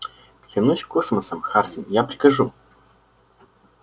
клянусь космосом хардин я прикажу